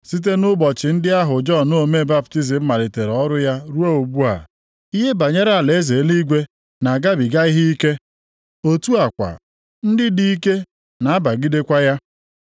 Site nʼụbọchị ndị ahụ Jọn omee baptizim malitere ọrụ ya ruo ugbu a, ihe banyere alaeze eluigwe na-agabiga ihe ike. Otu a kwa ndị dị ike na-abagidekwa ya.